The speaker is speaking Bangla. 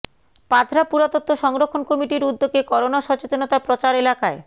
পাথরা পুরাতত্ব সংরক্ষণ কমিটির উদ্যোগে করোনা সচেতনতা প্রচার এলাকায়